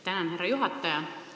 Tänan, härra juhataja!